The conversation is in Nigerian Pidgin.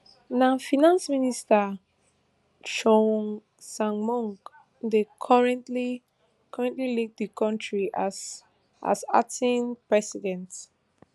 na finance minister choi sangmok dey currently currently lead di kontri as as acting president